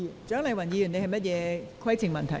蔣麗芸議員，你有甚麼規程問題？